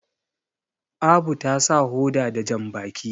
Abu ta sa hoda da jambaki